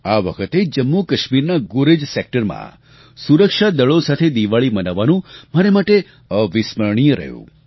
આ વખતે જમ્મુકાશ્મીરના ગુરેજ સેક્ટરમાં સુરક્ષાદળો સાથે દિવાળી મનાવવાનું મારે માટે અવિસ્મરણીય રહ્યું